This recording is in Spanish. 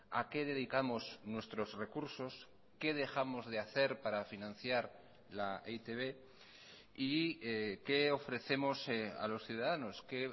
a qué dedicamos nuestros recursos qué dejamos de hacer para financiar la e i te be y qué ofrecemos a los ciudadanos qué